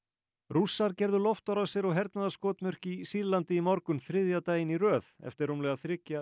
rússar gerðu loftárásir á hernaðarskotmörk í Sýrlandi í morgun þriðja daginn í röð eftir rúmlega þriggja